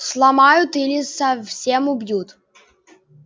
сломают или совсем убьют